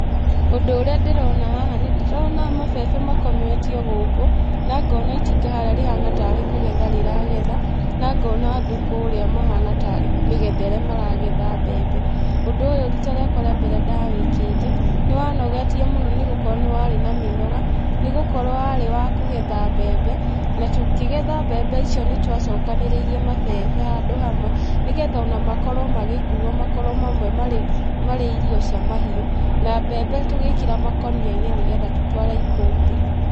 Ũndũ ũrĩa ndĩrona haha, nĩndĩrona mabebe makometio gũkũ, na ngona itinga harĩa rĩhana tarĩ kũgetha rĩragetha, na ngona andũ kũrĩa mahana tarĩ mĩgethere magetha mbembe. Ũndũ ũyũ rita rĩa mbere ndawĩkĩte, nĩwanogetie mũno nĩgũkorwo nĩwarí na mĩnoga, nĩgũkorwo nĩwarĩ wa kũgetha mbembe, natũkĩgetha mbembe icio nĩtwacokanĩrĩirie mabebe handũ hamwe, nĩgetha ona makorwo magĩkuo makorwo marĩ, marĩ irio cia mahiũ, na mbembe tũgĩkĩra makonia-inĩ nĩgetha tũtware ikũmbĩ.